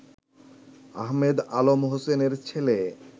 আহমেদ আলম হোসেনের ছেলে